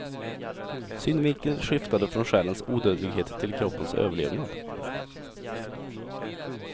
Synvinkeln skiftade från själens odödlighet till kroppens överlevnad.